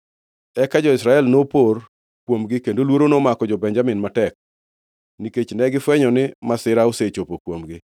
Eka jo-Israel nopor kuomgi, kendo luoro nomako jo-Benjamin matek, nikech negifwenyo ni masira osechopo kuomgi.